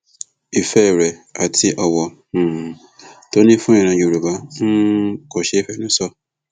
ìfẹ rẹ àti ọwọ um tó ní fún ìran yorùbá um kò ṣeé fẹnu sọ